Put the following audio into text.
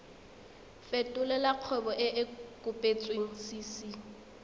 fetolela kgwebo e e kopetswengcc